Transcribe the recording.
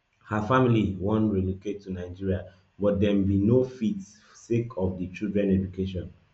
her family bin wan relocate to nigeria but dem bin no fit sake of di children education